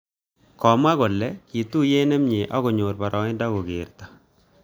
Komwa kole ki tuiyet nemie ak konyor boroindob kokerto